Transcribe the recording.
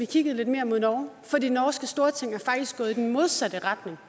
kiggede lidt mere mod norge for det norske storting er faktisk gået i den modsatte retning